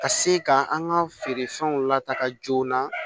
Ka se ka an ka feerefɛnw lataaga joona